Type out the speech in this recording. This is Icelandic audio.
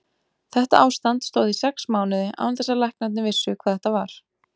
Þetta ástand stóð í sex mánuði án þess að læknarnir vissu hvað þetta var.